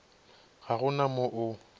ga go na mo o